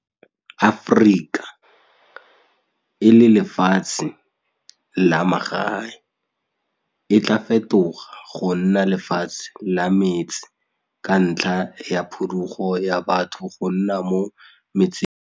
Afrika, e le lefatshe la magae, e tlaa fetoga go nna lefatshe la metse ka ntlha ya phudugo ya batho go nna mo metseng.